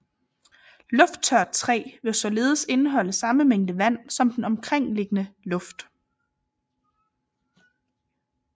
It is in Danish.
Lufttørt træ vil således indeholde samme mængde vand som den omkringliggende luft